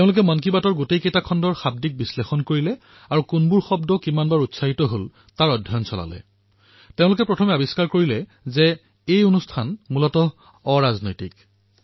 তেওঁলোকে সকলো খণ্ডৰ এক বিশ্লেষণ কৰিলে আৰু অধ্যয়ন কৰিলে যি কোনবোৰ শব্দ কিমানবাৰ কোৱা হৈছে কোনবোৰ শব্দ বাৰে বাৰে কোৱা হৈছে তেওঁলোকৰ এই বিশ্লেষণ অৰাজনৈতিক আছিল